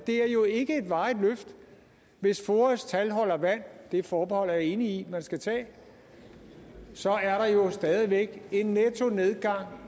er jo ikke et varigt løft hvis foas tal holder vand det forbehold er jeg enig i man skal tage så er der jo stadig væk en nettonedgang